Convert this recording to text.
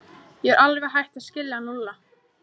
Ég er alveg hætt að skilja hann Lúlla.